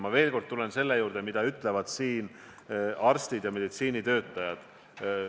Ma tulen veel kord selle juurde, mida ütlevad arstid ja meditsiinitöötajad.